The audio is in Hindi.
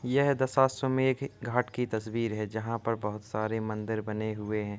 यह एक दशाश्मेव घाट की तस्वीर है। जहाॅं पर बहुत सारे मंदिर बने हुए हैं।